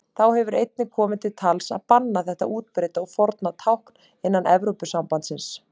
Þá hefur einnig komið til tals að banna þetta útbreidda og forna tákn innan Evrópusambandsins.